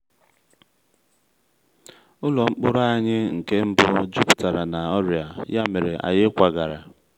ụlọ mkpụrụ anyị nke mbụ jupụtara na ọrịa ya mere anyị kwagara.